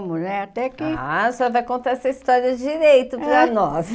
né? Até que... Ah, a senhora vai contar essa história direito para nós.